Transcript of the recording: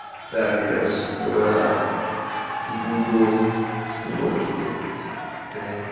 так я с утра буду уроки делать понятно